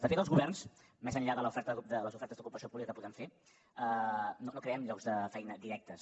de fet els governs més enllà de les ofertes d’ocupació pública que podem fer no creem llocs de feina directes